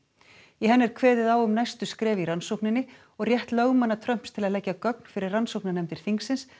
í henni er kveðið á um næstu skref í rannsókninni og rétt lögmanna Trumps til að leggja gögn fyrir rannsóknarnefndir þingsins